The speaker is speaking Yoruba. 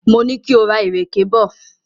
Mo ní kí o ra ìrèké bọ̀.